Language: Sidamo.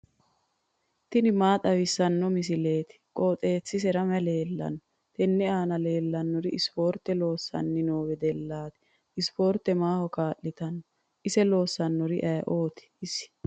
tini maa xawissanno misileeti? qooxeessisera may leellanno? tenne aana leellannori ispoorte loosanni noo wedellaati. ispoorte maaho kaa'litanno? ise loossannori ayee ooti isi?